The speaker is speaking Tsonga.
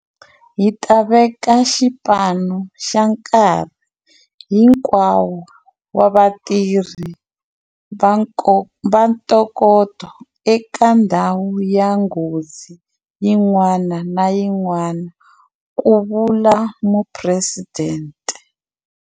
Hi ta veka xipano xa nkarhi hinkwawo wa vatirhi va ntokoto eka ndhawu ya nghozi yin'wana na yin'wana, ku vula Phuresidente.